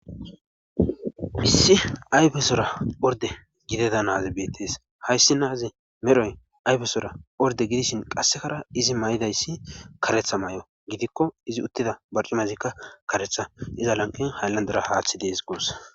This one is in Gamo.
Issi ayfesora orde gideda naazi bettees hayssi naazi medhoy ayfesora orde gidishin qassekara izi may7idayssi karetha may7o gidikko izi uttida barcimazikka karetha iza lanqin hayllandera haaththi dees goos.